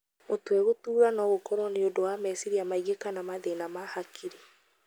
Mũtwe gũtuura no akorwo nĩ ũndũ wa meciria maingĩ kana mathĩna ma hakirĩ.